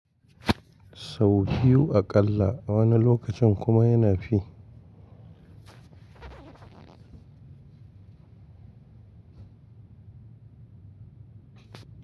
Sau biyu aƙalla, a wani lokacin kuma yana fi.